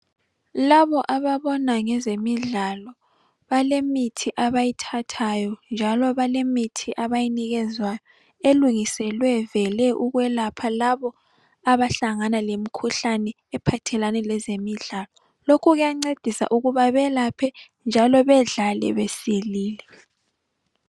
Laba abona ngeze midlalo balemithi abayithathayo njalo balemithi abayinikezwayo elungiselwe vele ukwelapha labo abahlanga lemkhuhlane ephathelane lezemidlalo kuyangcedisa ukubana belaphe njalo bedlale besilile